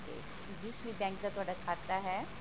ਜਿਸ ਵੀ bank ਦਾ ਤੁਹਾਡਾ ਖਾਤਾ ਹੈ